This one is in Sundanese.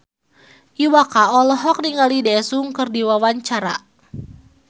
Iwa K olohok ningali Daesung keur diwawancara